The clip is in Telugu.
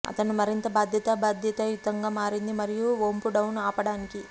అతను మరింత బాధ్యత బాధ్యతాయుతంగా మారింది మరియు వొంపు డౌన్ ఆపడానికి